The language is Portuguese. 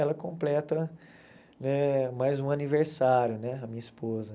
Ela completa eh mais um aniversário né, a minha esposa.